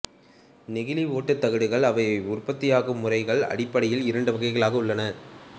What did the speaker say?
நெகிழி ஒட்டுத்தகடுகள் அவை உற்பத்தியாகும் முறைகளின் அடிப்படையில் இரண்டு வகைகளாக உள்ளன